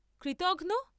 কৃতঘ্ন।